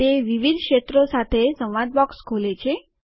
તે વિવિધ ક્ષેત્રો સાથે સંવાદ બોક્સ ખોલે છે